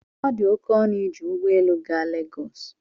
ọ dị oke ọnụ iji ụgbọ elu gaa Legọs